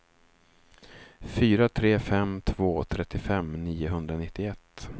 fyra tre fem två trettiofem niohundranittioett